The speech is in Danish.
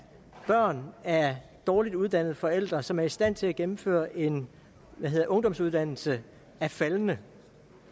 børn af dårligt uddannede forældre som er i stand til at gennemføre en ungdomsuddannelse er faldende